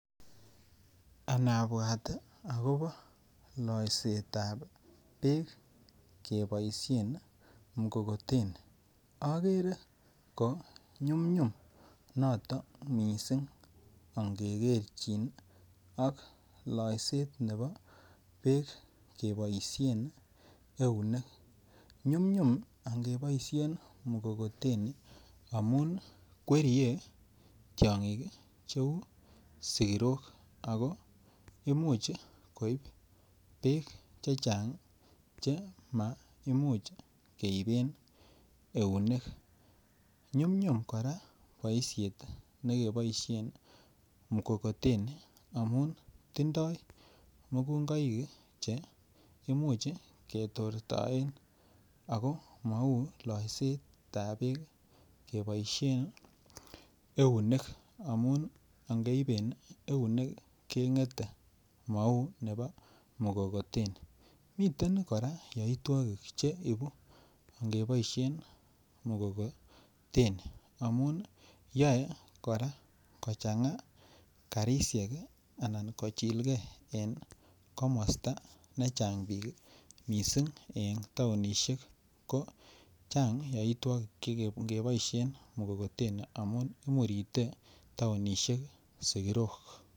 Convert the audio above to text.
Anabwat agobo loisetab Beek keboisien mkokoteni agere ko nyumnyum noton mising angekerchin ak loiset nebo Beek keboisien eunek nyumnyum. ngeboisien mkokoteni amun kwerie tiongik cheu sikirok ako Imuch koib Beek chechang' Che maimuch keiben eunek nyum nyum kora boisiet ne keboisien mkokoteni amun tindoi mukungoik Che Imuch ke tortaen ako Mou loisetab Beek keboisien eunek amuun ngeiben eunek kengete mou nebo mkokoteni kora komiten yaitwogik che bitu ngeboisien mkokoteni amuun yoe kochanga karisiek anan kochilgei en komosta nechang' bik mising ko en taonisiek ko chang yaitwogik ngeboisien mkokoteni amun imurite taonisiek sikirok